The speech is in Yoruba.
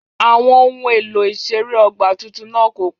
Àwọn ohun èlò ìṣeré ọgbà tuntun náà kò pọ̀